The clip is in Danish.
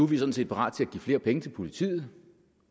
vi sådan set parat til at give flere penge til politiet